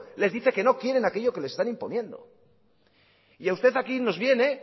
les dice que no quieren aquello que les están imponiendo y usted aquí nos viene